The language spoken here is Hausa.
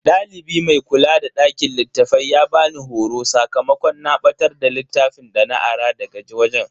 Dalibi mai kula da dakin littafai ya bani horo sakamakon na batar da littafin dana ara daga wajen.